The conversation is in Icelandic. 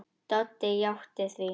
Doddi játti því.